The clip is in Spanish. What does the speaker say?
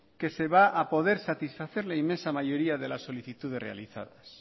que se va a poder satisfacer la inmensa mayoría de las solicitudes realizadas